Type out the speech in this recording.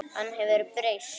Hann hefur breyst.